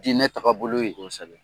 Diinɛ tagabolo ye, kosɛbɛ.